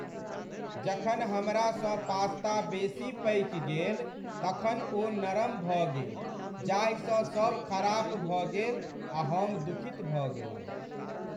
जखन हमरासँ पास्ता बेसी पकि गेल तखन ओ नरम भऽ गेल जाहिसँ सभ खराप भऽ गेल आ हम दुखित भऽ गेलहुँ।